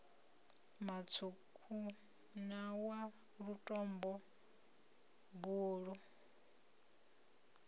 mutswuku na wa lutombo buluu